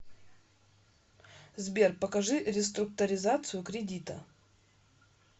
сбер покажи реструкторизацию кредита